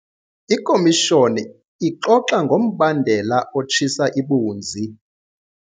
Ikhomishoni ixoxa ngombandela otshisa ibunzi.